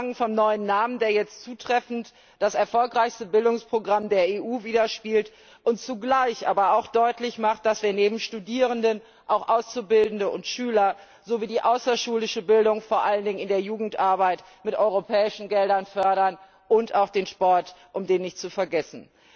Angefangen beim neuen Namen, der jetzt zutreffend das erfolgreichste Bildungsprogramm der EU widerspiegelt und zugleich aber auch deutlich macht, dass wir neben Studierenden auch Auszubildende und Schüler sowie die außerschulische Bildung vor allen Dingen in der Jugendarbeit mit europäischen Geldern fördern und auch den Sport, um den nicht zu vergessen.